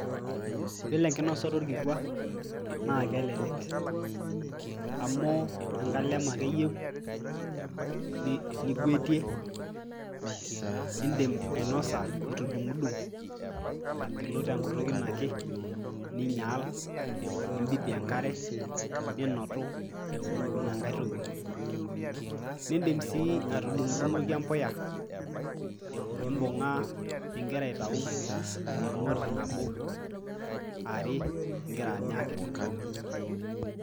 Iyiolo enkinosata orkikua naake elelek amu enkalem ake eyeu nigwetie, indim ainosa itu idung'dung' agilu te nkutuk ino ake, ninyal nimbibi enkare ninotu ina nkae toki. Niindim sii atudung'dung'oki embuya nimbung'aa ing'ira aitau endung'oti nabo are ing'ira anya akiti.